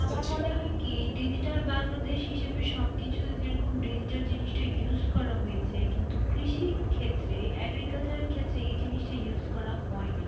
আমার মনে হয় কি digital বাংলাদেশ হিসাবে সবকিছু যেরকম digital জিনিসটা use করা হয়েছে কিন্তু কৃষি ক্ষেত্রে agriculture ক্ষেত্রে এই জিনিসটা use করা হয় নি,